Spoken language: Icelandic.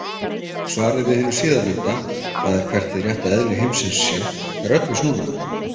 Svarið við hinu síðarnefnda, það er hvert hið rétta eðli heimsins sé, er öllu snúnara.